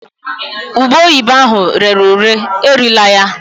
Ube oyibo ahụ rere ure erila ya